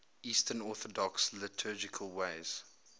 eastern orthodox liturgical days